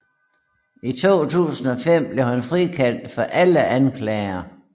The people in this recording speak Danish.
I 2005 blev han frikendt for alle anklager